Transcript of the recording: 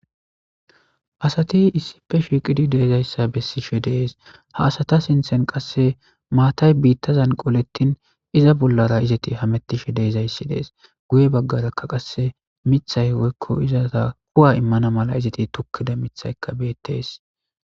Asati issipe shiiqidi de'izaysa bessishe de'ees. Ha asata sinthen qasse maata biita bolla qoletin iza bollara izeti hametishe de'izaysi dees. Guye baggaraka qasse miththay woyko kuwa immana mala izeti tokkida miththayka beetees.